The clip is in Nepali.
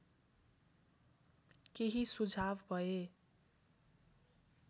केही सुझाव भए